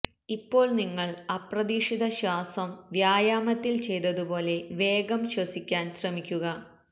ഇപ്പോൾ നിങ്ങൾ അപ്രതീക്ഷിത ശ്വാസം വ്യായാമത്തിൽ ചെയ്തതുപോലെ വേഗം ശ്വസിക്കാൻ ശ്രമിക്കുക